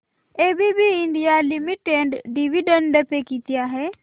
ABB India limited dividend pay किती आहे